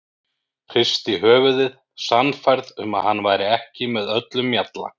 Hristi höfuðið, sannfærð um að hann væri ekki með öllum mjalla.